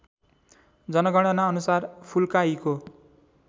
जनगणनाअनुसार फुल्काहीको